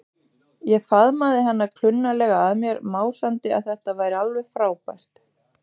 Ég faðmaði hana klunnalega að mér, másandi að þetta væri alveg frábært.